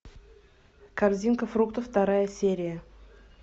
корзинка фруктов вторая серия